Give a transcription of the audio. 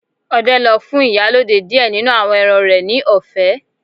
Ọdẹ lọ fun Ìyálode diẹ ninu awọn ẹran rẹ ni ọfẹ